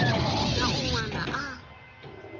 na un wana a a